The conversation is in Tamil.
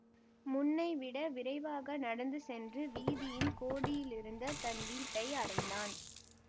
முன்னைவிட விரைவாக நடந்து சென்று வீதியின் கோடியிலிருந்த தன் வீட்டை அடைந்தான்